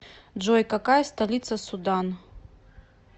джой какая столица судан